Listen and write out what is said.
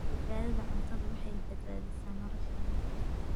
Badbaadada cuntadu waxay badbaadisaa nolosheena.